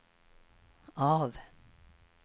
av